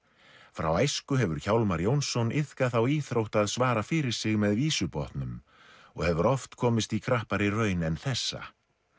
frá æsku hefur Hjálmar Jónsson iðkað þá íþrótt að svara fyrir sig með vísubotnum og hefur oft komist í krappari raun en þessa